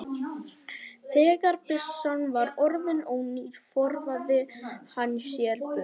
Þegar byssan var orðin ónýt forðaði hann sér burt.